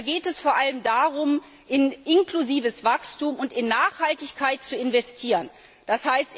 Da geht es vor allem darum, in inklusives Wachstum und in Nachhaltigkeit zu investieren, d.